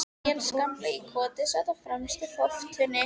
Níels gamli í Koti sat á fremstu þóftunni.